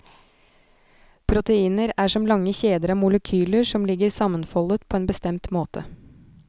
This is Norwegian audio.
Proteiner er som lange kjeder av molekyler som ligger sammenfoldet på en bestemt måte.